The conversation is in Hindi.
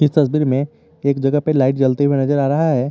तस्वीर में एक जगह पे लाइट जलते हुए नजर आ रहा है।